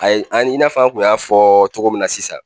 Ayi ani i n'a fɔɔ an kun y'a fɔ togo min na sisan